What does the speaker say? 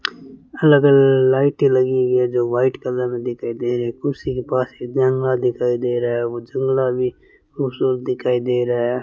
अलग-अलग लाइटें लगी हुई हैं जो व्हाइट कलर में दिखाई दे रही है कुर्सी के पास जंगला दिखाई दे रहा है वो जंगला भी खूबसूरत दिखाई दे रहा है।